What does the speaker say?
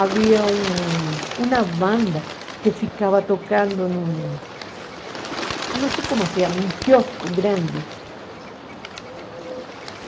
Havia um uma banda que ficava tocando num... Não sei como se chama, um quiosco grande.